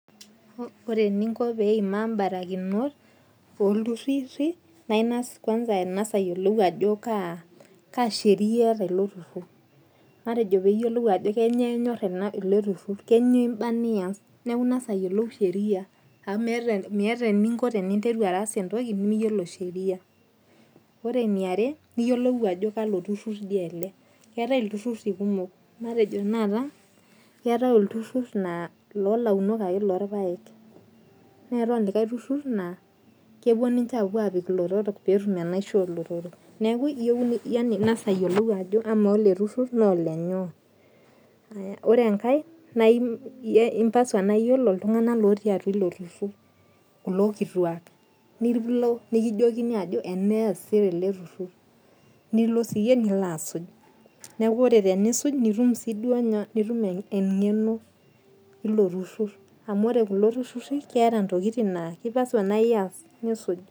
Ore eninko pee eima ibarakinot oo iltururi naa ing'as kwanza angas ayilou ajo kaa sheria eeta ilo turur matejo pee iyolou ajo kainyoo enyor ilo turur keinyoo ibaa niyas neeku ing'as ayiolou sheria. Amu meeta eninko piteenru aas entoki miyiolo sheria. Ore ene iare niyolou ajo kalo turur dii ele. Keetae iltururi kumok. Matejo tanakata keetae ilturur laa ilo launok ake loo irpaek . Neetae olikai turur naa. Kepuo ninche apuo apik ilotorok pee etum ilotorok. Neeku iyou yaani ing'as ayolou ajo amaa ele turur naa olenyoo. Ore enkar naa impasa naa iyolo iltung'ana ooti atua ilo turur. Kulo kituak. Nilo nikijokini ajo ena eesii tele turur nilo sii iyie nilo asuj. Neeku ore tenisuj nitum sii duo nyoo nitum eng'eno ilo turur amuu ore kulo tururi keeta intokitin naa kipasua niyas naa osuj.